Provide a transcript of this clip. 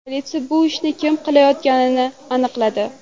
Politsiya bu ishni kim qilayotganini aniqladi.